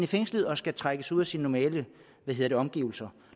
fængsel og skal trækkes ud af sin normale omgivelser